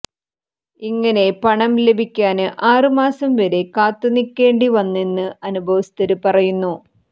ഇങ്ങനെ പണം ലഭിക്കാന് ആറ് മാസം വരെ കാത്തുനിക്കേണ്ടിവന്നെന്ന് അനുഭവസ്ഥര് പറയുന്നു